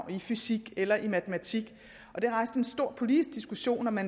i fysik eller matematik det rejste en stor politisk diskussion om at